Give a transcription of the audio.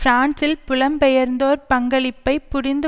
பிரான்சில் புலம்பெயர்ந்தோர் பங்களிப்பை புரிந்து